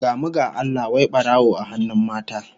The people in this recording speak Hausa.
Gamu ga Allah, wai barawo a hannun mata!